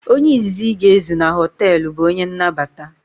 Onye izizi ị ga ezu na hoteelu bụ onye nnabata